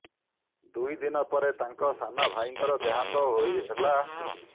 ଦୁଇ ଦିନ ପରେ ତାଙ୍କ ସାନ ଭାଇଙ୍କର ଦେହାନ୍ତ ହେଲା